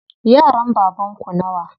Yaran baban ku nawa?